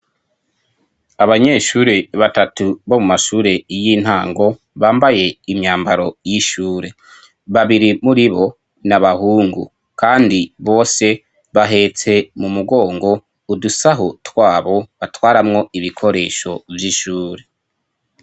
Abanyeshure batatu bo mu mashure y'intango bambaye imyambaro y'ishure babiri muri bo ni abahungu, kandi bose bahetse mu mugongo udusaho twabo batwaramwo ibikoresho vy'ishure.